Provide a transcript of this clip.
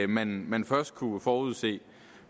man man først kunne forudse